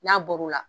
N'a bɔr'o la